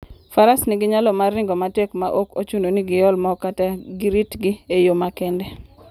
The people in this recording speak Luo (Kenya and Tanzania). Faras nigi nyalo mar ringo matek maok ochuno ni giol mo kata giritgi e yo makende.